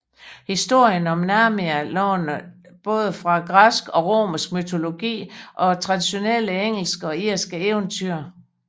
Historien om Narnia låner både fra græsk og romersk mytologi og traditionelle engelske og irske eventyr